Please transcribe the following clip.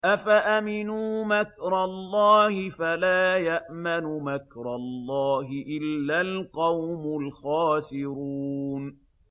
أَفَأَمِنُوا مَكْرَ اللَّهِ ۚ فَلَا يَأْمَنُ مَكْرَ اللَّهِ إِلَّا الْقَوْمُ الْخَاسِرُونَ